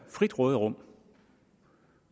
frit råderum